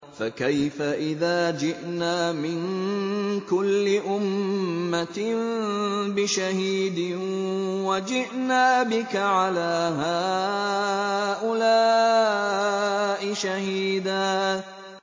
فَكَيْفَ إِذَا جِئْنَا مِن كُلِّ أُمَّةٍ بِشَهِيدٍ وَجِئْنَا بِكَ عَلَىٰ هَٰؤُلَاءِ شَهِيدًا